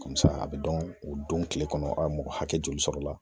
a bɛ dɔn o don kile kɔnɔ mɔgɔ hakɛ joli sɔrɔla